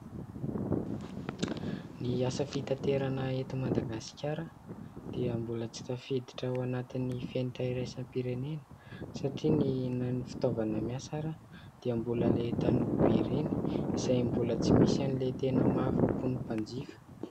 Ny asa fitaterana eto Madagasikara dia mbola tsy tafiditra ao anatin'ny fenitra iraisam-pirenena, satria na dia ny fitaovana miasa aza dia mbola ilay taloha be ireny izay mbola tsy misy an'ilay tena mahafapo ny mpanjifa.